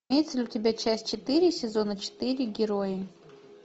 имеется ли у тебя часть четыре сезона четыре герои